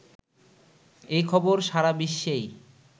এই খবর সারা বিশ্বেই